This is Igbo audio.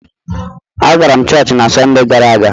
Agara m chọọchị na Sọnde gara aga.